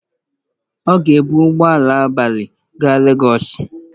Ọ ga-ebu ụgbọ ala abalị gaa lagọs.